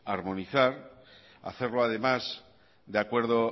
armonizar hacerlo además de acuerdo